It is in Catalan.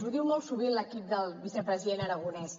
ho diu molt sovint l’equip del vicepresident aragonès